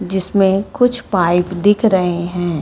जिसमें कुछ पाइप दिख रहें हैं।